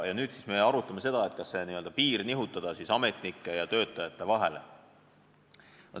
Nüüd me arutame seda, kas see n-ö piir nihutada ametnike ja töötajate vahele.